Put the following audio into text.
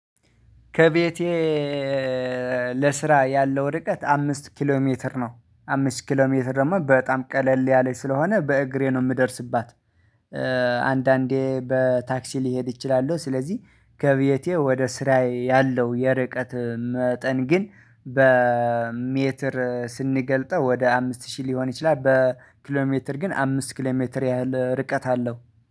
ከቤቴ ለስራ ያለው ርቀት አምስት ኪሎ ሜትር ነው። አምስት ኪሎ ሜትር ደግሞ በጣም ቀለል ያለች ስለሆነ በእግሬ ነው የምደርስባት። አንዳንዴ በታክሲ ሊሄድ ይችላሉ። ስለዚህ ከቤቴ ወደ ስራዬ ያለው የርቀት መጠን ግን በሜትር ስንገልጠው ወደ አምስት ሺህ ሊሆን ይችላል። በኪሎሜትር ግን አምስት ኪሎሜትር ያህል ርቀት አለው